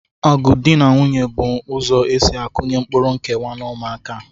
Ọgụ dị na nwunye bụ ụzọ e si akụnye mkpụrụ nkewa n'ụmụaka